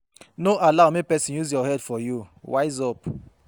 No allow make persin use your head for you, wise up